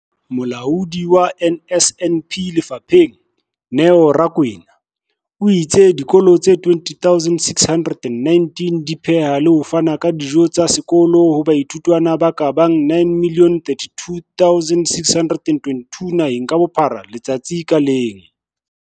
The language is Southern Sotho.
Molaodi wa NSNP lefapheng, Neo Rakwena, o itse dikolo tse 20 619 di pheha le ho fana ka dijo tsa sekolo ho baithuti ba ka bang 9 032 622 naheng ka bophara letsatsi ka leng.